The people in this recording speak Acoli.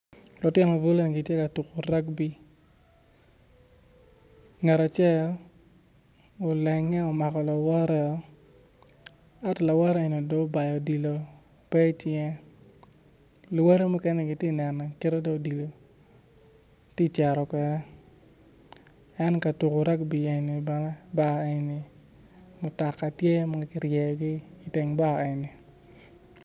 Lutino bulu eni gitye ka tuku rugby ngat acel olenge omako lawote ento lawote onongo dong obayo odilo pe icinge luwote mukene gity ka nene kit ma dong odilo tye kacito kwede en katuko rudby eni bene bar eni mutoka tye ma kiryeyogi iteng bar eni